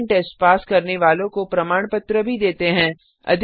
online test pass करने वालों को प्रमाण पत्र भी देते हैं